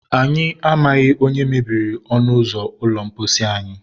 Anyị amaghị onye mebiri ọnụ ụzọ ụlọ mposi anyị